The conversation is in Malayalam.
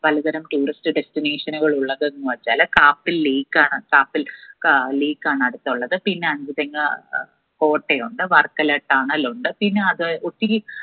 പലതരം tourist destination ഉകൾ ഉള്ളത് ചെല kappil lake ആണ് kappil lake ആണ് അടുത്തുള്ളത്. പിന്ന അഞ്ചുതെങ്ങ് അഹ് കോട്ടയുണ്ട് വർക്കല തണലുണ്ട് പിന്ന അവിടെ ഒത്തിരി